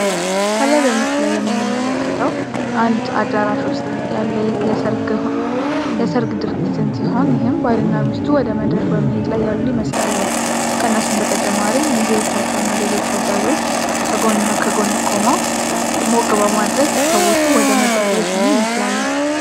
ከላይ በምስሉ የምንመለከተ በአንድ አዳራሽ ውስጥ ያለ የሰርግ ድርጅትን ሲሆን ባልና ሚስቱ ወደ መድረክ በመሄድ ላይ ያሉ ይመስላል ቤተጨማሪ ሚዚዎቻቸውና ሌሎች አጃቢዎች ከጎንና ከጎን ቆመው ሞት በማድረግ ሙሽሮቹን ወደ መድረክ እየሸኙ ይመስላል።